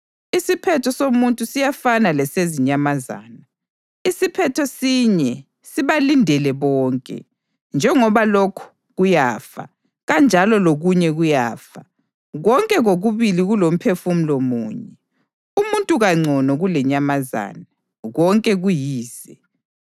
Isiphetho somuntu siyafana lesezinyamazana; isiphetho sinye sibalindele bonke: njengoba lokhu kuyafa, kanjalo lokunye kuyafa. Konke kokubili kulomphefumulo munye; umuntu kangcono kulenyamazana. Konke kuyize.